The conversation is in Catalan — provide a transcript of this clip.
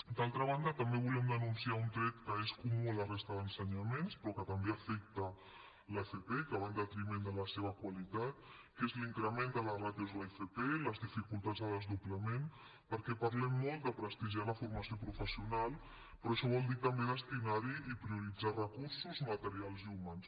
d’altra banda també volíem denunciar un tret que és comú a la resta d’ensenyaments però que també afecta l’fp i que va en detriment de la seva qualitat que és l’increment de les ràtios a l’fp i les dificultats de desdoblament perquè parlem molt de prestigiar la formació professional però això vol dir també destinar hi i prioritzar recursos materials i humans